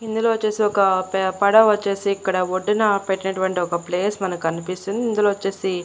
ఇందులో వచ్చేసి ఒక పడవ వచ్చేసి ఇక్కడ ఒడ్డు నా పెట్టినటువంటి ఒక ప్లేస్ మనకు కనిపిస్తుంది ఇందులో వచ్చేసి.